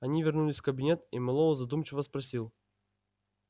они вернулись в кабинет и мэллоу задумчиво спросил